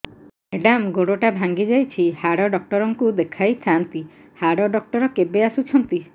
madam ଗୋଡ ଟା ଭାଙ୍ଗି ଯାଇଛି ହାଡ ଡକ୍ଟର ଙ୍କୁ ଦେଖାଇ ଥାଆନ୍ତି ହାଡ ଡକ୍ଟର କେବେ ଆସୁଛନ୍ତି